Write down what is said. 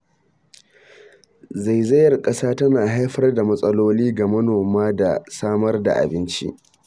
Zaizayar ƙasa tana haifar da matsaloli ga noma da samar da abinci.